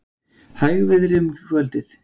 Hægviðri um kvöldið